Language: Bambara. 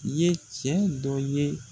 Ye cɛ dɔ ye